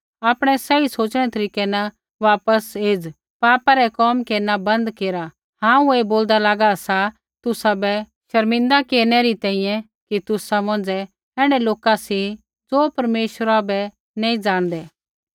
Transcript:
आपणै सही सोच़णै रै तरीकै न वापस आ पापा रै कोम केरना बन्द केरा हांऊँ ऐ बोलदा लागा सा तुसाबै शर्मिंदा केरनै री तैंईंयैं कि तुसा मौंझ़ै ऐण्ढै लोका सी ज़ो परमेश्वरा बै नी ज़ाणदै